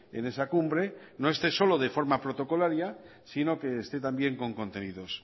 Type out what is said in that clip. en esa cumbre no esté solo de forma protocolaria sino que esté también con contenidos